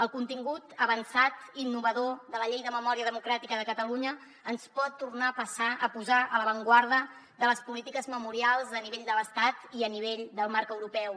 el contingut avançat i innovador de la llei de memòria democràtica de catalunya ens pot tornar a posar a l’avantguarda de les polítiques memorials a nivell de l’estat i a nivell del marc europeu